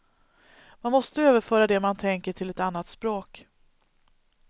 Man måste överföra det man tänker till ett annat språk.